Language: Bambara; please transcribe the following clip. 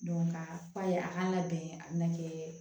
ka fa ye a kan ka bɛn a bɛna kɛ